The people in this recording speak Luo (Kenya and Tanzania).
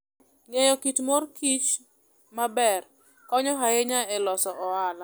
Ng'eyo kit mor kich maber konyo ahinya e loso ohala.